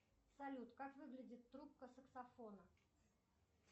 салют как выглядит трубка саксофона